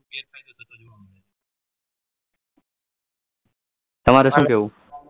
તમારે શુ કેવું